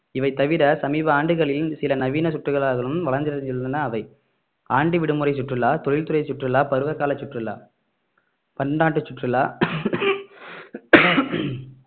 இவை தவிர சமீப ஆண்டுகளில் சில நவீன சுற்றுலாக்களும் வளர்ச்சியடைந்துள்ளன அவை ஆண்டு விடுமுறை சுற்றுலா தொழில்துறை சுற்றுலா பருவகால சுற்றுலா பன்னாட்டு சுற்றுலா